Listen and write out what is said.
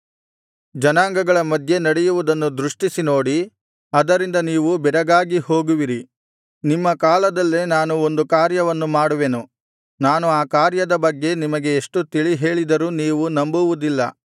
ಜನಾಂಗಗಳ ಮಧ್ಯೆ ನಡೆಯುವುದನ್ನು ದೃಷ್ಟಿಸಿ ನೋಡಿ ಅದರಿಂದ ನೀವು ಬೆರಗಾಗಿ ಹೋಗುವಿರಿ ನಿಮ್ಮ ಕಾಲದಲ್ಲೇ ನಾನು ಒಂದು ಕಾರ್ಯವನ್ನು ಮಾಡುವೆನು ನಾನು ಆ ಕಾರ್ಯದ ಬಗ್ಗೆ ನಿಮಗೆ ಎಷ್ಟು ತಿಳಿಹೇಳಿದರೂ ನೀವು ನಂಬುವುದಿಲ್ಲ